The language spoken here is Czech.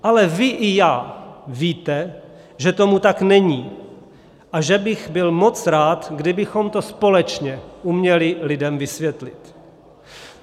Ale vy i já víme, že tomu tak není a že bych byl moc rád, kdybychom to společně uměli lidem vysvětlit.